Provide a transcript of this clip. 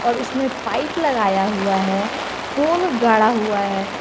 और उसमें पाइप लगाया हुआ है पोल गाड़ा हुआ है।